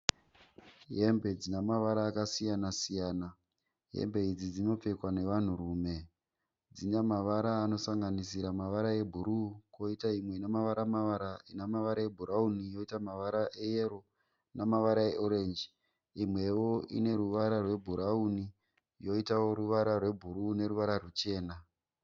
Hembe dzina mavara akasiyana-siyana. Hembe idzi dzinopfekwa nevanhurume. Dzina mavara anosanganisira mavara ebhuruu kwoitawo imwe ina mavara - mavara. Ina mavara ebhurauni yoita mavara eyero namavara eorenji. Imwewo inamavara ebhurauni yoitawo ruvara rwebhuruu neruvara rwuchena.